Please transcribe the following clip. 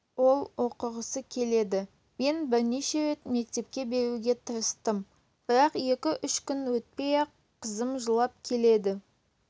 ол оқығысы келеді мен бірнеше рет мектепке беруге тырыстым бірақ екі-үш күн өтпей-ақ қызым жылап келеді